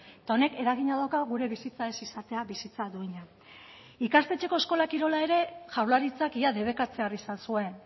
eta honek eragina dauka gure bizitza ez izatea bizitza duina ikastetxeko eskola kirola ere jaurlaritzak ia debekatzear izan zuen